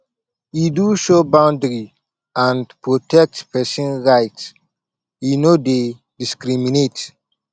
e do show boundary and protect pesin right e no dey discriminate